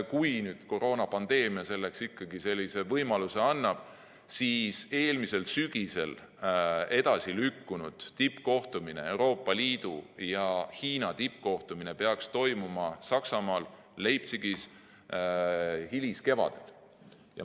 Kui koroonapandeemia selleks ikkagi võimaluse annab, siis eelmisel sügisel edasilükkunud Euroopa Liidu ja Hiina tippkohtumine peaks toimuma Saksamaal Leipzigis hiliskevadel.